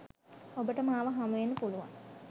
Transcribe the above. ඔබට මාව හමුවෙන්න පුළුවන්.